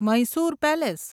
Mysore palace